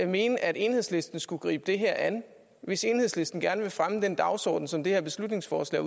mene at enhedslisten skulle gribe det her an hvis enhedslisten gerne vil fremme den dagsorden som det her beslutningsforslag